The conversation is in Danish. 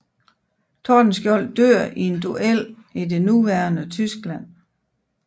Tordenskiold dør i en duel i det nuværende Tyskland